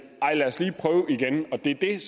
er